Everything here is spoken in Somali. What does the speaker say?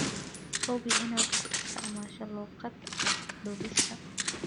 Hubi inaad ku isticmaasho luuqad cad duubista.